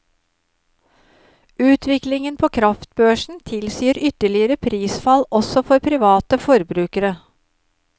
Utviklingen på kraftbørsen tilsier ytterligere prisfall også for private forbrukere.